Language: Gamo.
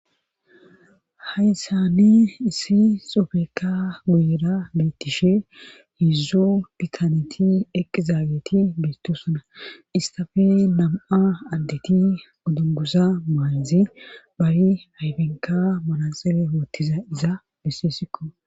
hayssani issi xofekka guyera beettishe hezdzu pikaneti eqizaageti beettosuna istafe nam7a addeti gudungusa maaydzi bari hayfenka malaxele hoottiza iza besseessikko